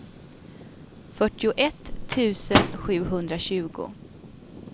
fyrtioett tusen sjuhundratjugo